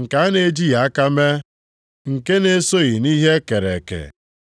nke a na-ejighị aka mee, nke na-esoghị nʼihe e kere eke,